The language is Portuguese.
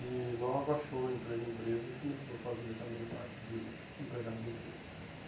E logo achou emprego em empresas e começou a sua vida também na parte de empregado de empresas.